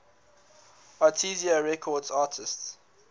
arista records artists